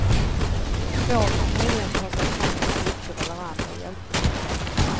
Två kan möjligen ta sig fram med kryckor eller andra hjälpmedel.